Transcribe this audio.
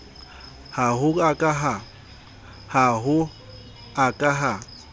ha ho a ka ha